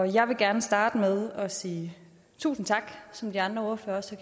jeg vil gerne starte med at sige tusind tak som de andre ordførere også